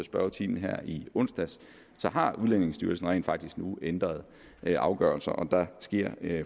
spørgetimen i onsdags har udlændingestyrelsen rent faktisk nu ændret afgørelser og der sker